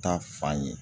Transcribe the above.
Ta fan ye